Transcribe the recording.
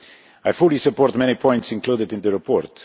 I fully support many points included in the report.